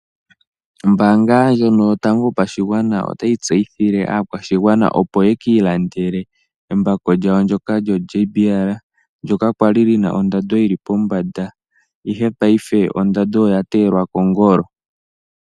Ombaanga ndjono Yotango Yopashigwana otayi tseyithile aakwashigwana opo ye ki ilandele embako lyawo lyoJBL ndyoka lya li li na ondando yi li pombanda, ihe paife ondando oya teyelwa kongolo.